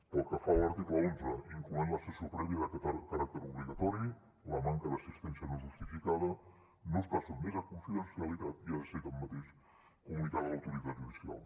pel que fa a l’article onze hi inclou la sessió prèvia de caràcter obligatori la manca d’assistència no justificada no està sotmesa a confidencialitat i ha de ser tanmateix comunicada a l’autoritat judicial